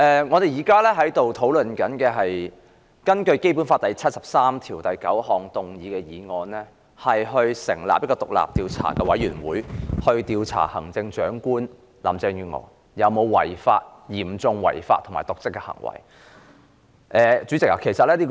我們現在討論的是根據《基本法》第七十三條第九項動議議案，以組成獨立調查委員會，調查對行政長官有嚴重違法及/或瀆職行為的指控。